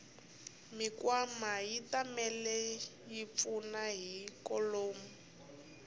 mikwama yatimale yipfuna ikonomi